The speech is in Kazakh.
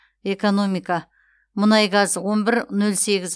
экономика мұнай газ он бір нөл сегіз